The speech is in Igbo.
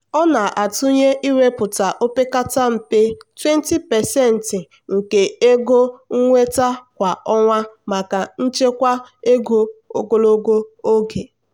ọ na-atụnye iwepụta opekata mpe 20% nke ego nnweta kwa ọnwa maka nchekwa ego ogologo oge.